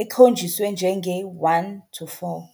ekhonjiswe njenge, 1 → 4.